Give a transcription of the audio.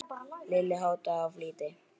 Lilla háttaði í flýti.